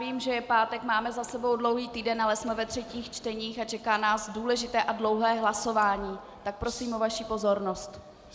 Vím, že je pátek, máme za sebou dlouhý týden, ale jsme ve třetích čteních a čeká nás důležité a dlouhé hlasování, tak prosím o vaši pozornost.